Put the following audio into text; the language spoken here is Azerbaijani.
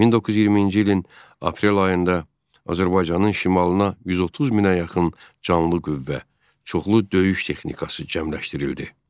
1920-ci ilin aprel ayında Azərbaycanın şimalına 130 minə yaxın canlı qüvvə, çoxlu döyüş texnikası cəmləşdirildi.